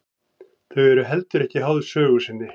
Þau eru heldur ekki háð sögu sinni.